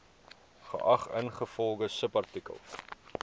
geag ingevolge subartikel